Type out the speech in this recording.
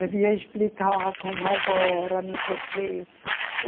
Devia explicar como agora, não sei o quê.